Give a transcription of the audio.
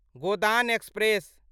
Godan express